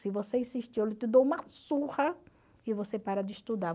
Se você insistir, eu dou uma surra e você para de estudar.